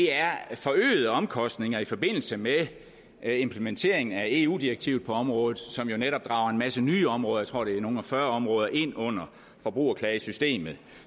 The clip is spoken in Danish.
er forøgede omkostninger i forbindelse med implementeringen af eu direktivet på området som jo netop drager en masse nye områder jeg tror at det er nogle og fyrre områder ind under forbrugerklagesystemet